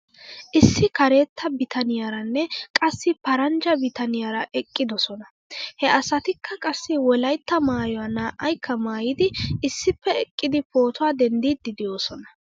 Issi karetta bitaniyaaranne qassi paranjja bitaniyaara eqqidosona. He asatikka qassi wolaytta maayuwaa naa'aykka maayidi issippe eqqidi pootuwaa dendiiddi de'oosona .